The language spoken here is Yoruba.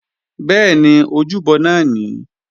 Bẹ́ẹ̀ni, ojúbọ náà nìí